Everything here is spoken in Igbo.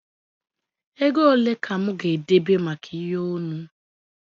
Ego ole ka mụ ga-edebe maka ihe onu?